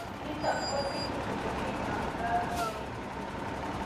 Nitok kotinye ole kinamdaikei